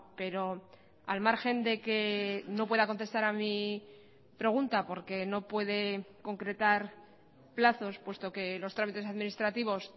pero al margen de que no pueda contestar a mí pregunta porque no puede concretar plazos puesto que los trámites administrativos